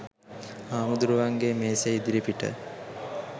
හාමුදුරුවන්ගේ මේසේ ඉදිරිපිට